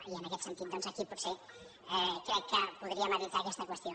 i en aquest sentit aquí potser crec que podríem evitar aquesta qüestió